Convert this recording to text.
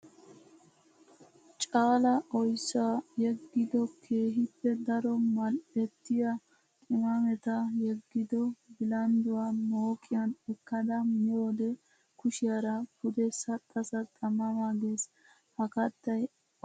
Caala oyssaa yegiddo keehippe daro mali'ettiya qimaametta yegiddo bilandduwa mooqiyan ekkada miyoode kushiyaara pude saxa saxa ma ma gees. Ha kattay oyssa kattatuppe issuwa.